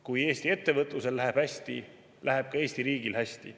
Kui Eesti ettevõtlusel läheb hästi, läheb ka Eesti riigil hästi.